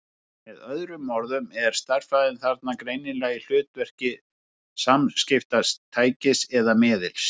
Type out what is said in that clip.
Með öðrum orðum er stærðfræðin þarna greinilega í hlutverki samskiptatækis eða-miðils.